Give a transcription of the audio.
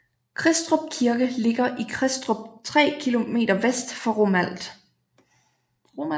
Kristrup Kirke ligger i Kristrup 3 km vest for Romalt